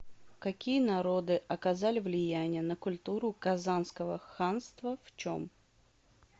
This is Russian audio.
какие народы оказали влияние на культуру казанского ханства в чем